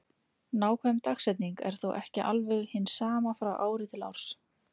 Nákvæm dagsetning er þó ekki alveg hin sama frá ári til árs.